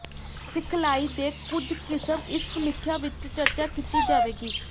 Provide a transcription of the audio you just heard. ਸਿਖਲਾਈ ਦੇ ਕੁਝ ਕਿਸਮ ਇਸ ਸਮੀਖਿਆ ਵਿਚ ਚਰਚਾ ਕੀਤੀ ਜਾਵੇਗੀ